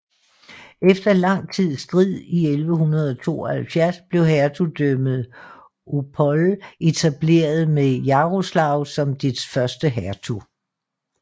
Efter lang tids strid i 1172 blev hertugdømmet Opole etableret med Jarosław som dets første hertug